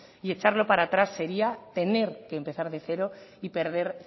y echarlo para atrás sería tener que empezar de cero y perder